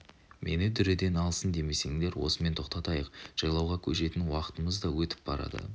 мені дүрелен алсын демесеңдер осымен тоқтатайық жайлауға көшетін уақытымыз да етіп барады